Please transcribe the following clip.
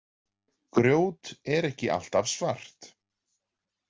Grjót er ekki alltaf svart.